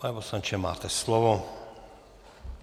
Pane poslanče, máte slovo.